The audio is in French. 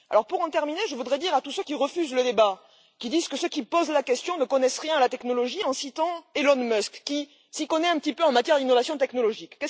Pour terminer, je voudrais rapporter à tous ceux qui refusent le débat, qui disent que ceux qui posent la question ne connaissent rien à la technologie, les mots d'Elon Musk, qui s'y connaît un petit peu en matière d'innovation technologique.